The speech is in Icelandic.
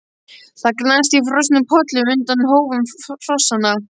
Það gnast í frosnum pollum undan hófum hrossanna.